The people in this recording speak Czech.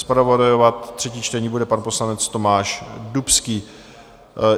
Zpravodajovat třetí čtení bude pan poslanec Tomáš Dubský.